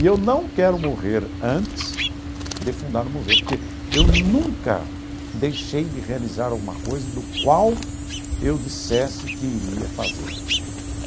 E eu não quero morrer antes de fundar um museu, porque eu nunca deixei de realizar alguma coisa do qual eu dissesse que iria fazer.